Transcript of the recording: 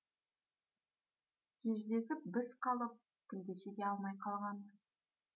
кездесіп біз қалып тілдесе де алмай қалғанбыз